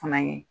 Fana ye